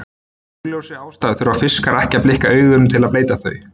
Af augljósri ástæðu þurfa fiskar ekki að blikka augunum til að bleyta þau.